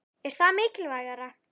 Er það mikilvægara?